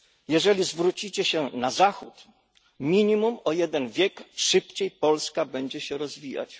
Jeżeli zwrócicie się na Zachód, minimum o jeden wiek szybciej Polska będzie się rozwijać.